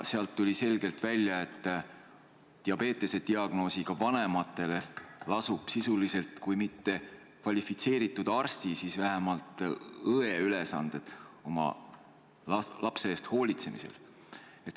Sealt tuli selgelt välja, et diabetes'e diagnoosiga laste vanematel lasuvad sisuliselt kui mitte kvalifitseeritud arsti, siis vähemalt õe ülesanded oma lapse eest hoolitsemisel.